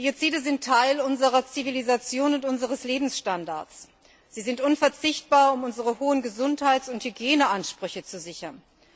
Biozide sind Teil unserer Zivilisation und unseres Lebensstandards. Sie sind unverzichtbar, um unsere hohen Gesundheits und Hygieneansprüche zu sichern.